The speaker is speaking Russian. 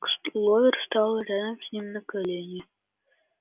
кловер стала рядом с ним на колени